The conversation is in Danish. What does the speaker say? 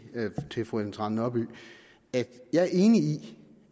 til fru ellen trane nørby at jeg er enig i